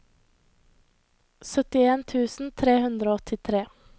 syttien tusen tre hundre og åttitre